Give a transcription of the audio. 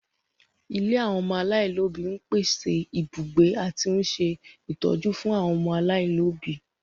Ilé àwọn ọmọ aláìlóbi ń pèsè ibùgbé àti ń ṣe ìtọ́jú fún àwọn ọmọ aláìlóbi